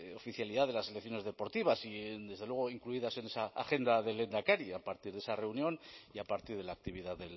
oficialidad de las selecciones deportivas y desde luego incluidas en esa agenda del lehendakari a partir de esa reunión y a partir de la actividad